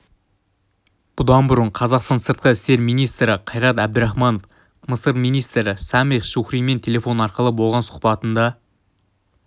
бұдан бұрын қазақстан сыртқы істер министрі қайрат әбдархманов мысыр министрі самех шукримен телефон арқылы болған сұхбатында